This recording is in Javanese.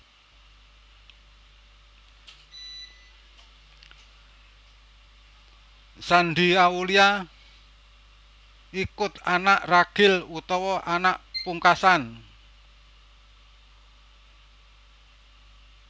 Shandy Aulia iku anak ragil utawa anak pungkasan